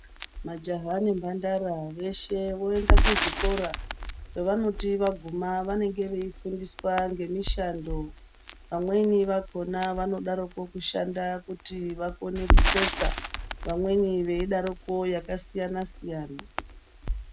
Majaya nemhandara veshe voende kuzvikora kwavanoti vaguma vanenge veifundiswa ngemishando vamweni vakhona vanodaroku kushanda kuti vakone kutsetsa vamweni veidaroko yakasiya a siyana.